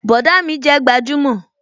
Bọ̀dá mi jẹ́ gbajúmò